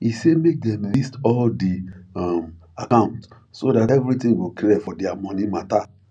e say make them list all di um account so that everything go clear for their money matter